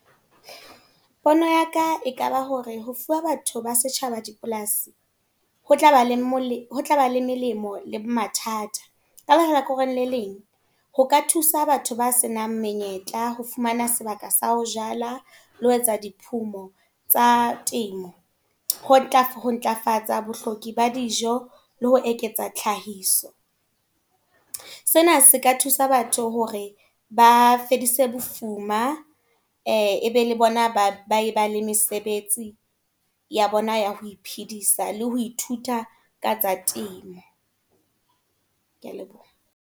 Pono ya ka ekaba hore, ho fuwa batho ba setjhaba dipolasi. Ho tlaba le molemo, ho tlaba le melemo le mathata. Ka hlakoreng leleng, ho ka thusa batho ba senang menyetla, ho fumana sebaka sa ho jala. Le ho etsa diphumo tsa temo. Ho ntlafatsa bohloki ba dijo, le ho eketsa tlhahiso. Sena se ka thusa batho hore ba fedise bofuma e be le bona, ba ba le mesebetsi ya bona ya ho iphidisa. Le ho ithuta ka tsa temo. Kea leboha.